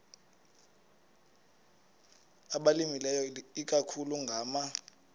abalimileyo ikakhulu ngama